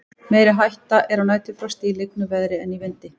meiri hætta er á næturfrosti í lygnu veðri en í vindi